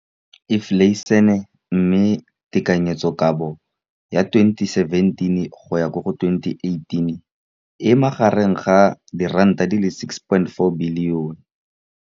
Infleišene, mme tekanyetsokabo ya 2017, 18, e magareng ga R6.4 bilione.